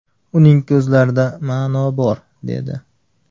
Uning ko‘zlarida ma’no bor”, dedi.